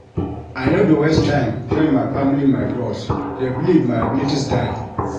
I no dey waste time tell my family my goals, dey believe my abilities die.